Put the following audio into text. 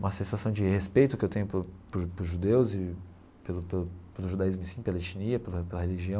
Uma sensação de respeito que eu tenho por por por judeus e pelo pelo judaísmo em si, pela etnia, pela pela religião,